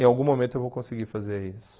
Em algum momento eu vou conseguir fazer isso.